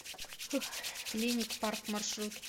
клиник парк маршрут